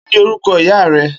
Kini órúkò ìyá rè?